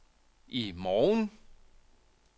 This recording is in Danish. i morgen